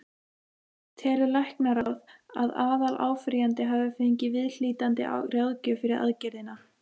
Telur læknaráð, að aðaláfrýjandi hafi fengið viðhlítandi ráðgjöf fyrir aðgerðina?